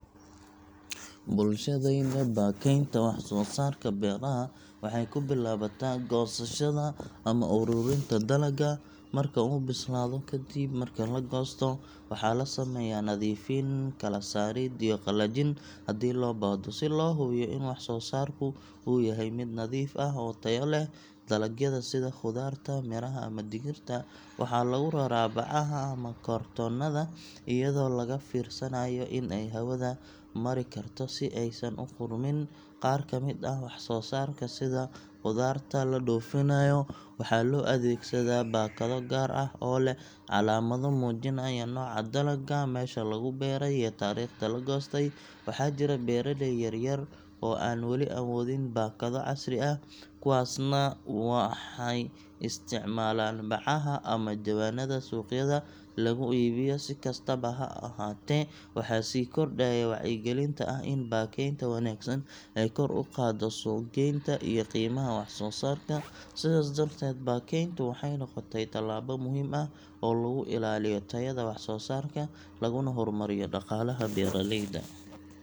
Bulshadayada, baakaynta wax-soo-saarka beeraha waxay ku bilaabataa goosashada ama ururinta dalagga marka uu bislaado. Ka dib marka la goosto, waxaa la sameeyaa nadiifin, kala saarid iyo qalajin haddii loo baahdo, si loo hubiyo in wax-soo-saarku uu yahay mid nadiif ah oo tayo leh. Dalagyada sida khudaarta, miraha ama digirta, waxaa lagu raraa bacaha ama kartoonnada, iyadoo laga fiirsanayo in ay hawada mari karto si aysan u qudhmin. Qaar ka mid ah wax-soo-saarka, sida qudaarta la dhoofinayo, waxaa loo adeegsadaa baakado gaar ah oo leh calaamado muujinaya nooca dalagga, meesha lagu beeray iyo taariikhda la goostay. Waxaa jira beeraley yaryar oo aan wali awoodin baakado casri ah, kuwaasna waxay isticmaalaan bacaha ama jawaanada suuqyada lagu iibiyo. Si kastaba ha ahaatee, waxaa sii kordhaya wacyigelinta ah in baakaynta wanaagsan ay kor u qaaddo suuq-geynta iyo qiimaha wax-soo-saarka. Sidaas darteed, baakayntu waxay noqotay tallaabo muhiim ah oo lagu ilaaliyo tayada wax-soo-saarka, laguna horumariyo dhaqaalaha beeraleyda.